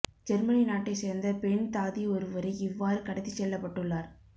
Germany நாட்டை சேர்ந்த பெண் தாதி ஒருவரே இவ்வாறு கடத்திச் செல்லப்பட்டுள்ளார்